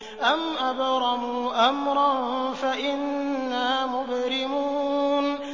أَمْ أَبْرَمُوا أَمْرًا فَإِنَّا مُبْرِمُونَ